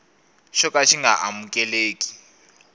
xo ka xi nga amukeleki